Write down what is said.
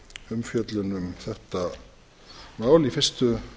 umfjöllun um þetta mál í fyrstu